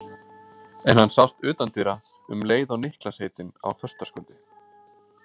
En hann sást utan dyra um leið og Niklas heitinn á föstudagskvöldið.